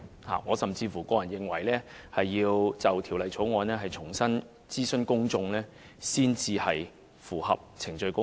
我個人甚至認為，就《條例草案》必須重新諮詢公眾，才能符合程序公義。